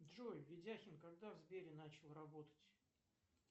джой ведяхин когда в сбере начал работать